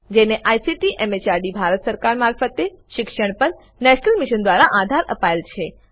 જેને ICT MHRD Bharat સરકાર મારફતે શિક્ષણ પર નેશનલ મિશન દ્વારા આધાર અપાયેલ છે